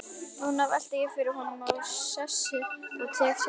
Núna velti ég honum úr sessi og tek sjálfur við.